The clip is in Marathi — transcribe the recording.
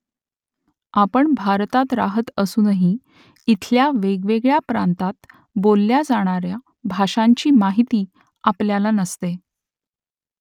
आपण भारतात राहत असूनही इथल्या वेगवेगळ्या प्रांतांत बोलल्या जाणाऱ्या भाषांची माहिती आपल्याला नसते